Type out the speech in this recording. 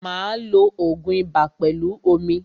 Máa lo ògun ibà pẹlú omi.